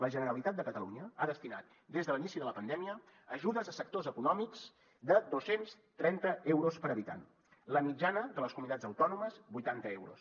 la generalitat de catalunya ha destinat des de l’inici de la pandèmia ajudes a sectors econòmics de dos cents i trenta euros per habitant la mitjana de les comunitats autònomes vuitanta euros